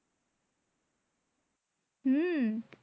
হম